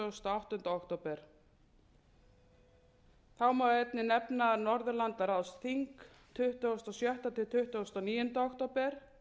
áttunda október þá má einnig nefna norðurlandaráðsþing tuttugasta og sjötta til tuttugasta og níunda október